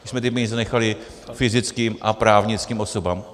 My jsme ty peníze nechali fyzickým a právnickým osobám.